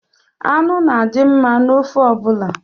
Anụ na-adi mma n’ofe ọbụla